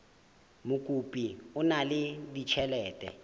mokopi o na le ditjhelete